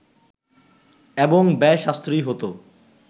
এবং ব্যয় সাশ্রয়ী হতো